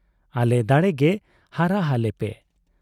ᱟᱞᱮ ᱫᱟᱲᱮ ᱜᱮ ᱦᱟᱨᱟ ᱦᱟᱞᱮ ᱯᱮ ᱾